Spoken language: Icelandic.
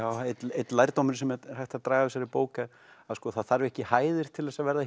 einn lærdómurinn sem er hægt að draga af þessari bók er að það þarf ekki hæðir til þess að verða